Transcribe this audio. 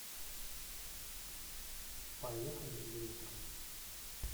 поехали ириска